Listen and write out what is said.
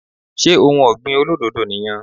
Ṣé ohun ọ̀gbìn olódòdó ni yan